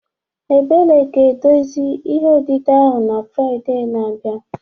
Ebele ga-edezi ihe odide ahụ na Fraịde na-abịa